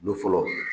Don fɔlɔ